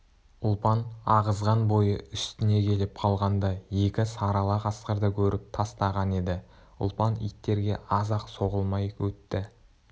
ұлпан ағызған бойы үстіне келіп қалғанда екі сары ала қасқырды көріп тастаған еді ұлпан иттерге аз-ақ соғылмай етті